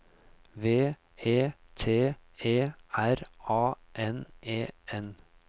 V E T E R A N E N